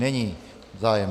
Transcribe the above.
Není zájem.